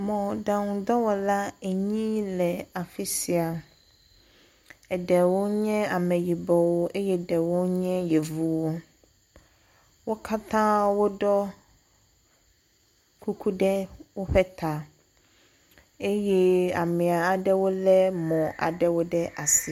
Mɔɖaŋudɔwɔla enyi le afi sia. Eɖewo nye ameyibɔwo eye eɖewo nye Yevuwo. Wo katã woɖɔ kuku ɖe woƒe ta eye ame aɖewo lé woƒe mɔwo ɖe asi.